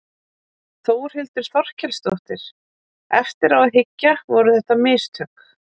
Þórhildur Þorkelsdóttir: Eftir á að hyggja, voru þetta mistök?